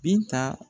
Binta